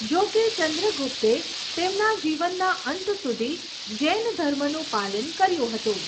જોકે, ચંદ્રગુપ્તે તેમના જીવનના અંત સુધી જૈન ધર્મનું પાલન કર્યું હતું.